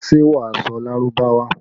Ṣé wà á sọ Lárúbáwá?